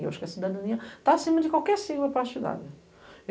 Eu acho que a cidadania está acima de qualquer sigla partidária.